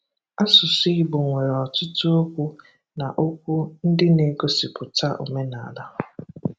Ásụsụ́ Ìgbò nwere ọtụtụ okwu na okwu ndị na-egosipụta òmènala.